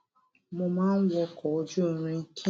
mo máa ń wọkò ojú irin kí n